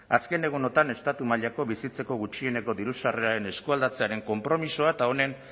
azken egunotan estatu mailako bizitzeko gutxieneko diru sarreraren eskualdatzearen konpromisoa eta honen